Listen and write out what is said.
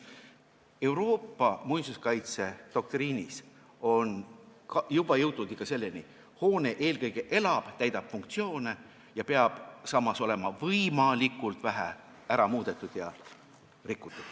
Euroopa muinsuskaitsedoktriinis on jõutud ikka selleni, et hoone eelkõige elab, täidab funktsioone ja seda peab samas olema võimalikult vähe muudetud ja rikutud.